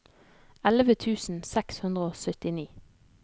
elleve tusen seks hundre og syttini